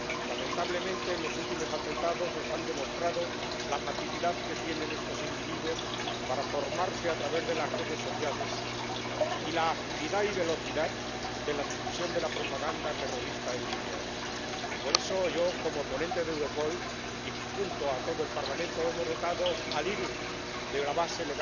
Lamentablemente, los últimos atentados nos han demostrado la facilidad que tienen estos individuos para formarse a través de las redes sociales y la agilidad y velocidad de la difusión de la propaganda terrorista en línea. Por eso, yo, como ponente de Europol, y junto con todo el Parlamento, hemos dotado a la IRU de la base